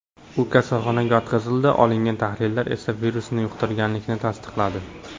U kasalxonaga yotqizildi, olingan tahlillar esa virusni yuqtirganlikni tasdiqladi.